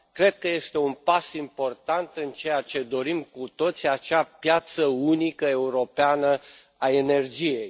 Cred că este un pas important în ceea ce dorim cu toții, acea piață unică europeană a energiei.